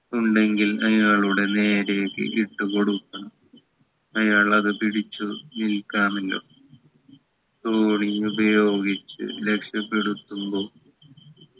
ഉണ്ടെങ്കിൽ അയാളുടെ നേരേക്ക് ഇട്ട് കൊടുക്കണം അയാൾ അത് പിടിച്ചു നിൽക്കാമല്ലൊ തോണി ഉപയോഗിച്ച് രക്ഷപെടുത്തുമ്പോ